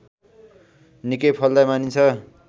निकै फलदायी मानिन्छ